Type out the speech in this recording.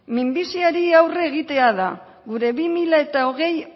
minbiziari aurre egitea da gure bi mila hogei